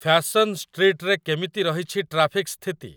Fashion ଷ୍ଟ୍ରୀଟ୍‌ରେ କେମିତି ରହିଛି ଟ୍ରାଫିକ ସ୍ଥିତି ?